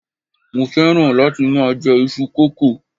mo fẹràn láti ma je Isu koko